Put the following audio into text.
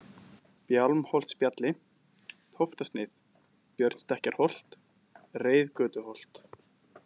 Bjálmholtsbjalli, Tóftasneið, Björnsstekkjarholt, Reiðgötuholt